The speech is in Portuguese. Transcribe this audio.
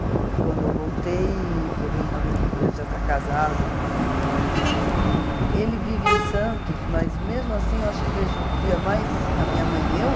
E quando eu voltei, que eu vim uma vez, ele já estava casado, com filho, tudo, mas ele vive em Santos, mas mesmo assim eu acho que vejo via mais a minha mãe e eu,